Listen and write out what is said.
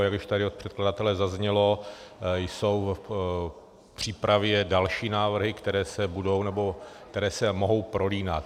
A jak už tady od předkladatele zaznělo, jsou v přípravě další návrhy, které se budou, nebo které se mohou prolínat.